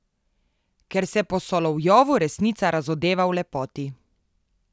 Ker se po Solovjovu resnica razodeva v lepoti.